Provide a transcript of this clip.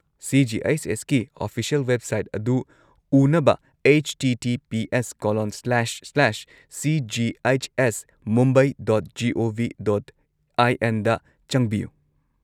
ꯁꯤ.ꯖꯤ.ꯑꯩꯆ.ꯑꯦꯁ.ꯀꯤ official website ꯑꯗꯨ ꯎꯅꯕ https://cghsmumbai.gov.in/ ꯗ ꯆꯪꯕꯤꯌꯨ꯫